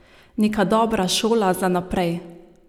Neka dobra šola za naprej.